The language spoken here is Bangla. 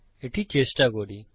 এটি চেষ্টা করি